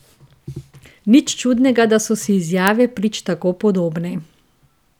Nič čudnega, da so si izjave prič tako podobne.